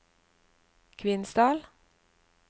Kvinesdal